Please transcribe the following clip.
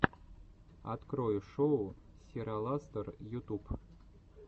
открой шоу сираластор ютуб